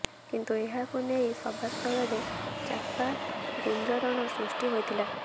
କିନ୍ତୁ ଏହାକୁ ନେଇ ସଭାସ୍ଥଳରେ ଚାପା ଗୁଞ୍ଜରଣ ସୃଷ୍ଟି ହୋଇଥିଲା